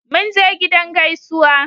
Mun je gidan su gaisuwa